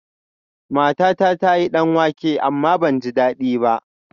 Matata ta yi danwake amma ban ji dadi ba